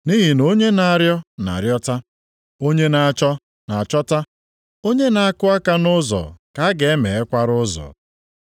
Nʼihi na onye na-arịọ, na-arịọta. Onye na-achọ, na-achọta. Onye na-akụ aka nʼụzọ ka a ga-emeghekwara ụzọ.